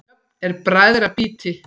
Jöfn eru bræðra býti.